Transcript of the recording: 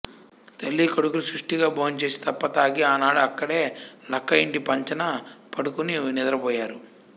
తల్లీ కొడుకులు సుష్టిగా భోంచేసి తప్ప తాగి ఆనాడు అక్కడే లక్క ఇంటి పంచన పడుకుని నిద్ర పోయారు